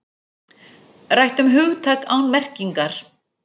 Rætt um hugtak án merkingar